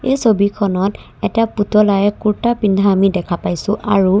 এই ছবিখনত এটা পুতলাই ৰ্কুতা পিন্ধা আমি দেখা পাইছোঁ আৰু ।